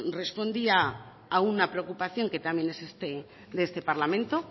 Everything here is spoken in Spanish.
respondía a una preocupación que también es de este parlamento